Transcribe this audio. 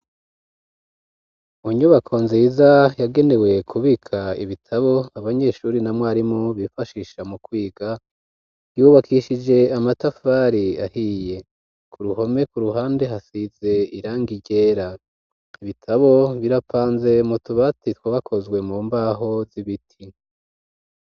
Mu nyubako nziza yagenewe kubika ibitabo abanyeshure na mwarimu bifashisha mu kwiga, yubakishije amatafari ahiye, ku ruhome ku ruhande hasize irangi ryera. Ibitabo birapanze mu tubati twa bakozwe mu mbaho z'ibiti.